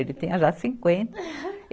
Ele tinha já cinquenta.